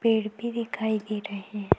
पेड़ भी दिखाई दे रहे है।